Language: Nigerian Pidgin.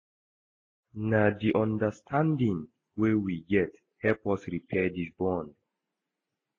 Na di understanding wey we get help us repair di bond.